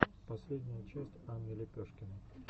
последняя часть анны лепешкиной